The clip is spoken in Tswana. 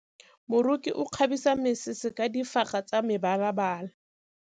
Moroki o kgabisa mesese ka difaga tsa mebalabala.